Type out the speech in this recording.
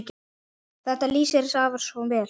Þetta lýsir afa svo vel.